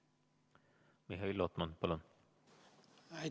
Mihhail Lotman, palun!